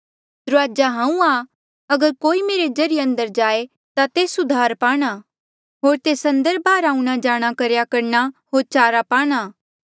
दुराजा हांऊँ आं अगर कोई मेरे ज्रीए अंदर जाए ता तेस उद्धार पाणा होर तेस अंदर बाहर आऊंणा जाणा करेया करणा होर चारा पाणा